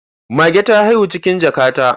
Mage ta haihu cikin jaka ta